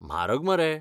म्हारग मरे.